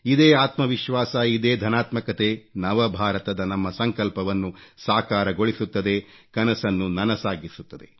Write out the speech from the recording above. ಇದೇ ಆತ್ಮವಿಶ್ವಾಸ ಇದೇ ಧನಾತ್ಮಕತೆ ನವ ಭಾರತದ ನಮ್ಮ ಸಂಕಲ್ಪವನ್ನು ಸಾಕಾರಗೊಳಿಸುತ್ತದೆ ಕನಸನ್ನು ನನಸಾಗಿಸುತ್ತದೆ